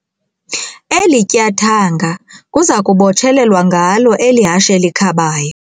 Eli tyathanga kuza kubotshelelwa ngalo eli hashe likhabayo.